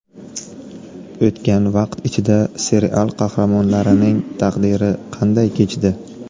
O‘tgan vaqt ichida serial qahramonlarining taqdiri qanday kechdi?.